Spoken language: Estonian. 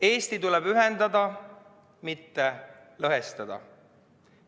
Eesti tuleb ühendada, mitte lõhestada.